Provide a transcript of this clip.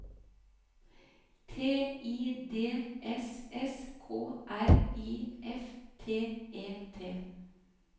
T I D S S K R I F T E T